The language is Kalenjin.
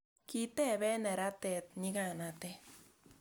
kitebee neranet nyikanet